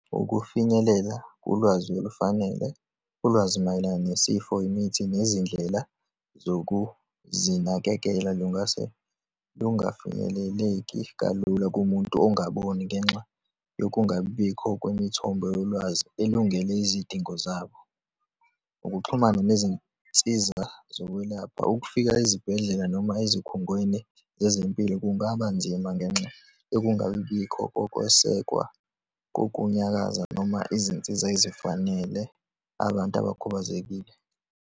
Ukufinyelela ulwazi olufanele, ulwazi mayelana nesifo, imithi, nezindlela zokuzinakekela lungase lungafinyeleleki kalula kumuntu ongaboni, ngenxa yokungabibikho kwemithombo yolwazi elungele izidingo zabo. Ukuxhumana nezinsiza zokwelapha, ukufika ezibhedlela, noma ezikhungweni zezempilo, kungaba nzima ngenxa yokungabibikho kokwesekwa kokunyakaza noma izinsiza ezifanele abantu abakhubazekile.